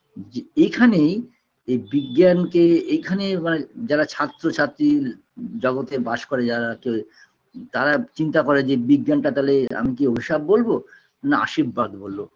যে এইখানেই এই বিজ্ঞানকে এইখানে এবার যারা ছাত্রছাত্রী জগতে বাস করে যারা কে তারা চিন্তা করে যে বিজ্ঞানটা তালে আমি কি অভিশাপ বলবো না আশির্বাদ বলবো